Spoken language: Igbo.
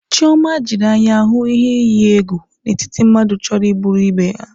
Chiọma jiri anya hụ ihe iyi egwu n'etiti mmadụ chọrọ igbu ebe ha.